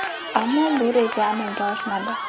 Ammo bu reja amalga oshmadi.